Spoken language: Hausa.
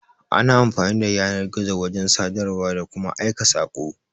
Ana amfani da yanar-gizo wajan sadarwa, da kuma Aika sako